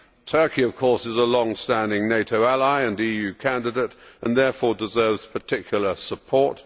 Turkey, of course, is a long standing NATO ally and EU candidate and therefore deserves particular support.